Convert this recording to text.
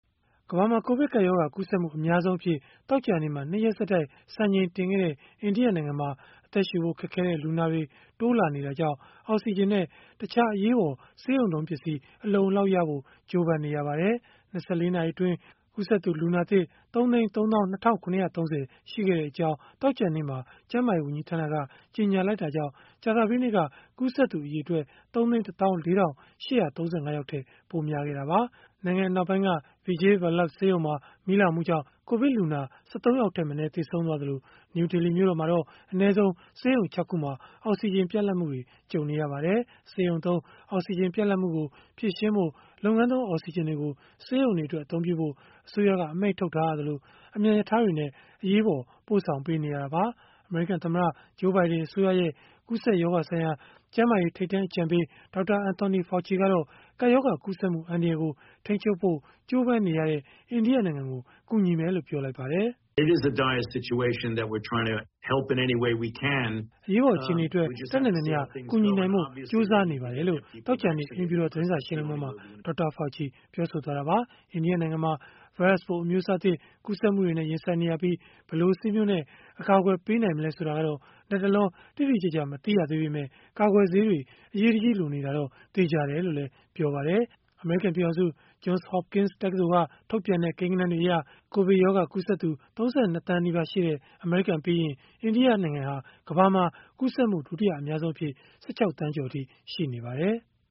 ကမ္ဘာမှာ ကိုဗစ်ကပ်ရောဂါ ကူးစက်မှု အများဆုံးအဖြစ် သောကြာနေ့မှာ ၂ ရက်ဆက်တိုက် စံချိန်တင်ခဲ့တဲ့ အိန္ဒိယနိုင်ငံမှာ အသက်ရှုဖို့ခက်ခဲတဲ့ လူနာတွေ တိုးလာတာကြောင့် အောက်စီဂျင်နဲ့ တခြားအရေးပေါ် ဆေးရုံသုံးပစ္စည်း အလုံအလောက်ရဖို့ ကြိုးပမ်းနေရပါတယ်။ ၂၄ နာရီအတွင်း ကူးစက်သူ လူနာသစ် ၃၃၂,၇၃၀ ရှိခဲ့ကြောင်း သောကြာနေ့မှာ ကျန်းမာရေး ဝန်ကြီးဌာနက ကြေညာလိုက်တာကြောင့် ကြာသပတေးနေ့က ကူးစက်သူ အရေအတွက် ၃၁၄,၈၃၅ ထက် ပိုများခဲ့တာပါ။ နိုင်ငံအနောက်ပိုင်းက Vijay Vallabh ဆေးရုံမှာ မီးလောင်မှုကြောင့် ကိုဗစ်လူနာ ၁၃ ယောက်ထက်မနည်း သေဆုံးခဲ့သလို၊ နယူးဒေလီ မြို့တော်မှာတော့ အနည်းဆုံး ဆေးရုံ ၆ ခုမှာ အောက်စီဂျင် ပြတ်လတ်မှုတွေ ကြုံနေရပါတယ်။ ဆေးရုံသုံးအောက်စီဂျင် ပြတ်လပ်မှုကို ဖြေရှင်းဖို့ လုပ်ငန်းသုံး အောက်စီဂျင်တွေကို ဆေးရုံတွေအတွက် အသုံးပြုဖို့ အစိုးရက အမိန့်ထုတ်ထားရသလို၊ အမြန်ရထားတွေနဲ့ အရေးပေါ် ပို့ဆောင်ပေးနေရတာပါ။ အမေရိကန်သမ္မတ Joe Biden အစိုးရရဲ့ ကူးစက်ရောဂါဆိုင်ရာ ကျန်းမာရေး ထိပ်တန်း အကြံပေး Dr. Anthony Fauci ကတော့ ကပ်ရောဂါကူးစက်မှု အန္တရာယ်ကို ထိန်းချုပ်ဖို့ ကြိုးပမ်းနေတဲ့ အိန္ဒိယနိုင်ငံကို ကူညီမယ်လို့ ပြောလိုက်ပါတယ်။ “အရေးပေါ် အခြေအနေအတွက် တတ်နိုင်သမျှ ကူညီနိုင်ဖို့ ကြိုးစားနေပါတယ်။” လို့ သောကြာနေ့ အိမ်ဖြူတော် သတင်းစာရှင်းလင်းပွဲမှာ Dr. Fauci ပြောဆိုသွားတာပါ။ အိန္ဒိယနိုင်ငံမှာ ဗိုင်းရပ်စ်ပိုး အမျိုးအစားသစ် ကူးစက်မှုတွေနဲ့ ရင်ဆိုင်နေရပြီး၊ ဘယ်လိုဆေးမျိုးနဲ့ အကာအကွယ်ပေးနိုင်မလဲ ဆိုတာကတော့ လတ်တလော တိတိကျကျ မသိရသေးပေမဲ့ ကာကွယ်ဆေးတွေ အရေးတကြီးလိုနေတာတော့ သေချာတယ်လို့လည်း ပြောပါတယ်။ အမေရိကန် ပြည်ထောင်စု Johns Hopkins တက္ကသိုလ်က ထုတ်ပြန်တဲ့ ကိန်းဂဏန်းတွေအရ ကိုဗစ်ရောဂါကူးစက်သူ ၃၂ သန်းနီးပါးရှိတဲ့ အမေရိကန်ပြီးရင်၊ အိန္ဒိယဟာ ကမ္ဘာမှာ ကူးစက်မှု ဒုတိယအများဆုံးအဖြစ် ၁၆ သန်းကျော်အထိ ရှိနေပါတယ်။